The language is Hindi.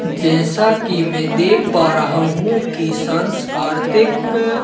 जैसा कि मैं देख पा रहा हूं कि सांस कार्तिक--